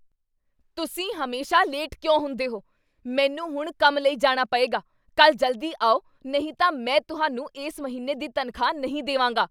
ਤੁਸੀਂ ਹਮੇਸ਼ਾ ਲੇਟ ਕਿਉਂ ਹੁੰਦੇ ਹੋ? ਮੈਨੂੰ ਹੁਣ ਕੰਮ ਲਈ ਜਾਣਾ ਪਏਗਾ! ਕੱਲ੍ਹ ਜਲਦੀ ਆਓ ਨਹੀਂ ਤਾਂ ਮੈਂ ਤੁਹਾਨੂੰ ਇਸ ਮਹੀਨੇ ਦੀ ਤਨਖ਼ਾਹ ਨਹੀਂ ਦੇਵਾਂਗਾ।